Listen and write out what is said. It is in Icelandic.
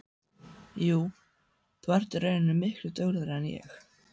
Jú, þú ert í rauninni miklu duglegri en ég.